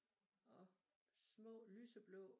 Og små lyseblå